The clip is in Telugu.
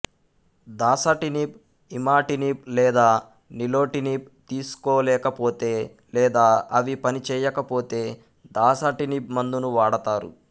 దాసటినిబ్ ఇమాటినిబ్ లేదా నీలోటినిబ్ తీసుకోలేకపోతే లేదా అవి పని చేయకపోతే దాసటినిబ్ మందును వాడతారు